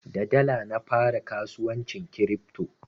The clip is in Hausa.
Da dala na fara kasuwancin kiripto.